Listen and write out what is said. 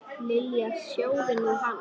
Lilla, sjáðu nú hann.